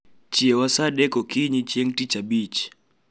chiewa saa adek ookinyi chieng tich abich